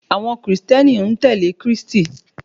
Àwọn kìrìsìtẹ́nì ń tẹ̀lé Krístì